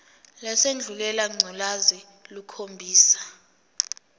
lesandulela ngculazi lukhombisa